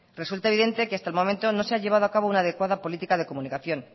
resulta evidente que hasta el momento no se ha llevado a cabo una adecuada política de comunicación